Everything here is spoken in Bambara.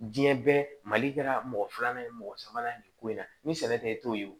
Diɲɛ bɛɛ mali kɛra mɔgɔ filanan ye mɔgɔ sabanan ni ko in na ni sɛnɛ tɛ e t'o ye